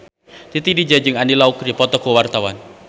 Titi DJ jeung Andy Lau keur dipoto ku wartawan